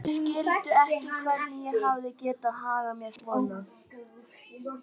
Þær skildu ekki hvernig ég hafði getað hagað mér svona.